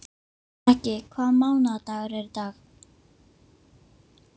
Raggi, hvaða mánaðardagur er í dag?